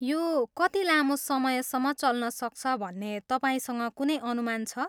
यो कति लामो समयसम्म चल्नसक्छ भन्ने तपाईंसँग कुनै अनुमान छ?